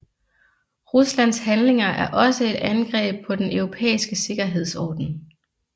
Ruslands handlinger er også et angreb på den europæiske sikkerhedsorden